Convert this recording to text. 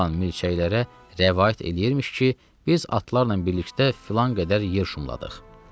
olan milçəklərə rəvayət eləyirmiş ki, biz atlarla birlikdə filan qədər yer şumladıq.